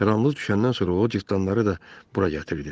Qaranlıq düşəndən sonra o cırtdanları da bura gətirdi.